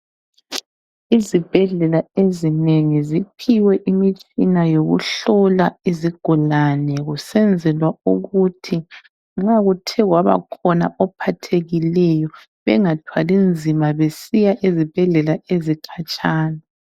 Izibhedlela ezinengi ziphiwe imitshina yokuhlola izigulane kusenzelwa ukuthi nxa kuthe kwabakhona ophathekileyo bengathwali nzima besiya ezibhedlela ezikhatshana.